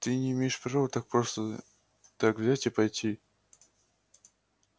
ты не имеешь права так просто так взять и пойти